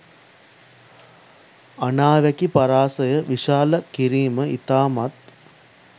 අනාවැකි පරාසය විශාල කිරීම ඉතාමත්